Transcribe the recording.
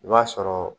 I b'a sɔrɔ